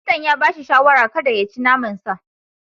Likitan ya ba shi shawarar kada ya ci naman sa.